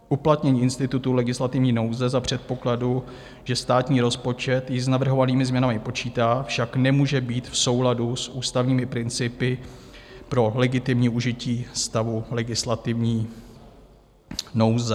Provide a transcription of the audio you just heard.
Uplatnění institutu legislativní nouze za předpokladu, že státní rozpočet již s navrhovanými změnami počítá, však nemůže být v souladu s ústavními principy pro legitimní užití stavu legislativní nouze.